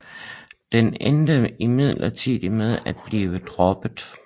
Den endte imidlertid med at blive droppet